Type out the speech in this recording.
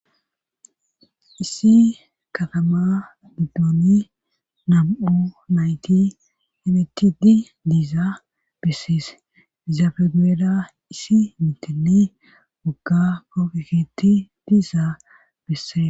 Issi katama biddooni nam'o nayti himitti di diiza besses izaafegoeda isi mitini gogga koofekitti diizaa bisse.